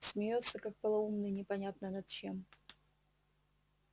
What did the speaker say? смеётся как полоумный непонятно над чем